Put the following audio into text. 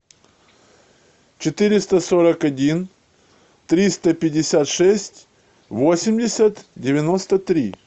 четыреста сорок один триста пятьдесят шесть восемьдесят девяносто три